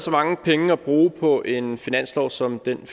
så mange penge at bruge på en finanslov som den